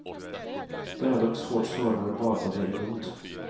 Döda och svårt sårade badade i blod.